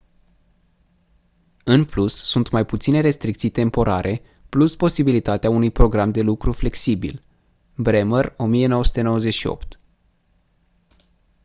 în plus sunt mai puține restricții temporare plus posibilitatea unui program de lucru flexibil. bremer 1998